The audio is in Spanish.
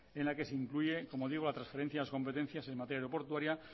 en la que se incluye como digo la transferencia de competencias en materia aeroportuaria